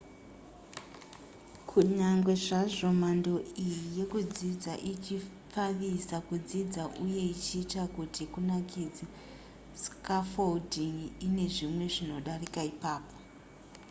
kunyange zvazvo mhando iyi yekudzidza ichipfavisa kudzidza uye ichiita kuti kunakidze scaffolding ine zvimwe zvinodarika ipapo